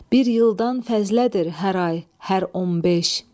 Bir ildən fəzlədir hər ay, hər 15.